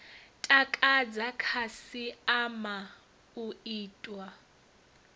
takadza khasi ama u itiwa